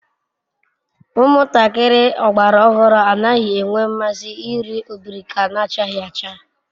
Umuntakiri ogbara ohuru anaghi enwe nmasi iri obirika nachaghi acha